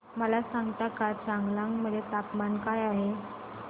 मला सांगता का चांगलांग मध्ये तापमान काय आहे